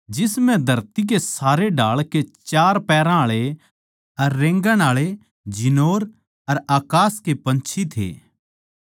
जिस म्ह धरती के सारे ढाळ के चार पैरां आळे अर रेंगणेआळे जिनोर अर अकास के पंछी थे